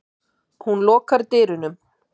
Hún lokar dyrunum.